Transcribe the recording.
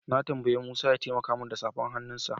Na tambayi Musa ya taimaka min da safar hannunsa.